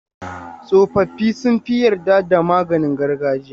Tsofaffi sun fi yarda da maganin gargajiya.